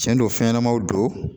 Tiɲɛ don fɛnɲanamaw don